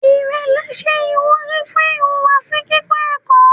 Irẹlẹ ṣe iwuri fun ihuwasi kikọ ẹkọ